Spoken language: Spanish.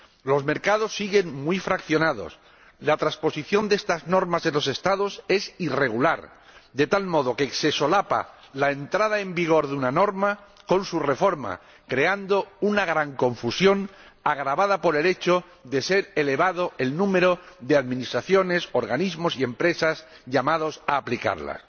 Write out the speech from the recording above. Los mercados siguen muy fraccionados, la transposición de estas normas en los Estados es irregular, de tal modo que se solapa la entrada en vigor de una norma con su reforma, creando una gran confusión, agravada por el hecho de ser elevado el número de administraciones, organismos y empresas llamados a aplicarlas.